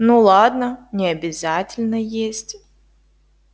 ну ладно не обязательно есть